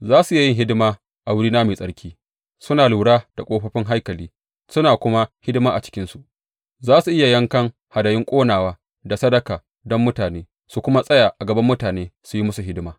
Za su iya yin hidima a wurina mai tsarki, suna lura da ƙofofin haikali suna kuma hidima a cikinsu; za su iya yankan hadayun ƙonawa da sadaka don mutane su kuma tsaya a gaban mutane su yi musu hidima.